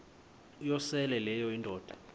uyosele leyo indoda